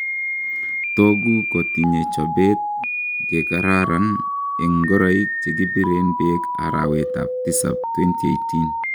Togu kotinye chobet gegararan en ngoroik chekibiren beek arawet ab tisab 2018.